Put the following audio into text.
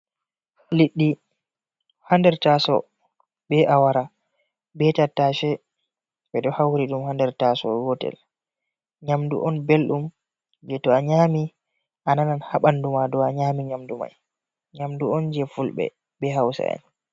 Liɗɗi haa nder taaso, be awara be tattashe, ɓe ɗo hauri ɗum haa nder taaso gotel. Nyamdu on belɗum je to a nyaami a nanan haa ɓandu ma, dou a nyaami nyamdu mai. Nyamdu on je fulɓe, be hausa’en.